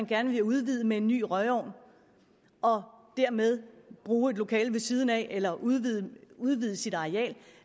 gerne vil udvide med en ny røgovn og dermed bruge et lokale ved siden af eller udvide udvide sit areal